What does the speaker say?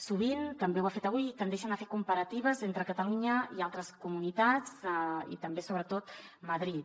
sovint també ho ha fet avui tendeixen a fer comparatives entre catalunya i altres comunitats i també sobretot madrid